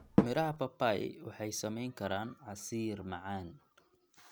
Miraha papai waxay samayn karaan casiir macaan.